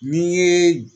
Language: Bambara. N'i ye